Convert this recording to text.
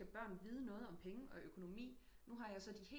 Selvfølgelig skal børn vide noget om penge og økonomi nu har så de helt